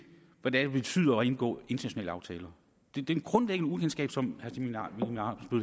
hvad det betyder at indgå internationale aftaler det det er et grundlæggende ukendskab som